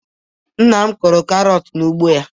Nna m kụrụ karọt n'ugbo ya.